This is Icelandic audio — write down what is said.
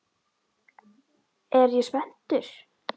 Er ég spenntur?